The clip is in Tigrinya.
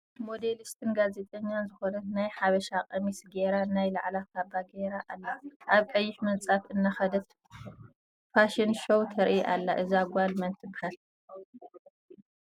ሞዴልስትን ጋዜጠኛን ዝኮነት ናይ ሓበሻ ቀሚስ ገይራ ናይ ላዕላ ካባ ጌራ ኣላ ኣብ ቀይሕ ምንፃፍ እናከደት ፋሽን ሾው ተርኢ ኣላ። እዛ ጋል መን ትበሃል?